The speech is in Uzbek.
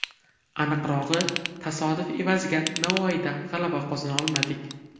Aniqrog‘i, tasodif evaziga Navoiyda g‘alaba qozona olmadik.